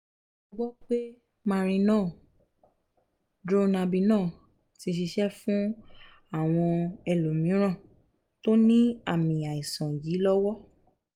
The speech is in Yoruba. mo gbọ́ pé marinol/dronabinol ti ṣiṣẹ́ fún àwọn ẹlòmíràn tó ní àmì àìsàn yìí lọ́wọ́